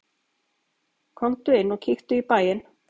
Komdu inn og kíktu í bæinn!